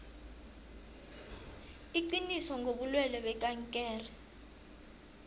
iqiniso ngobulwelwe bekankere